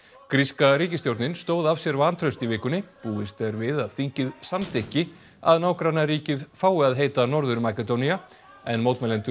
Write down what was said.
gríska ríkisstjórnin stóð af sér vantraust í vikunni búist er við að þingið samþykki að nágrannaríkið fái að heita Norður Makedónía en mótmælendur